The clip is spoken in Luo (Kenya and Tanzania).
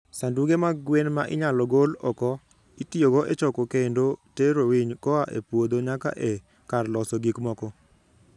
Sanduge mag gwen ma inyalo gol oko: Itiyogo e choko kendo tero winy koa e puodho nyaka e kar loso gik moko.